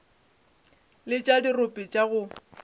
le tša dirope tša go